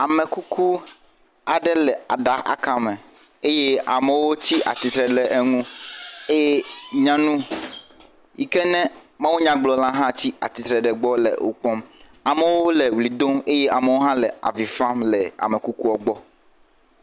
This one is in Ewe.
Amekuku aɖe le aɖa akame eye amewo tsi atitre le eŋu, eye nyanu yike ne Mawunya gblɔla hã tsi titre ɖe egbɔ le wo kpɔm. Amewo le ɣli dom eye amewo hã le avifam le amekukuɔ gbɔ.